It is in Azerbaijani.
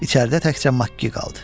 İçəridə təkcə Makki qaldı.